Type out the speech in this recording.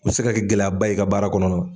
O bɛ se ka gɛlɛyaba ye i ka baara kɔnɔna na.